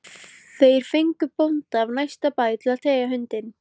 Þeir fengu bónda af næsta bæ til að teygja hundinn